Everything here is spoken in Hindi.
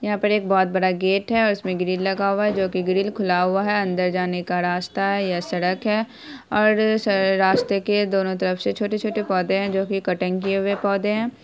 यहाँ पर एक बहुत बड़ा गेट है और इसमें ग्रिल लगा हुआ है जो की ग्रिल खुला हुआ है अंदर जाने का रास्ता है यह सड़क है और सा रास्ते के दोनों तरफ से छोटे-छोटे पौधे है जो की कटिंग किये हुए पौधे है।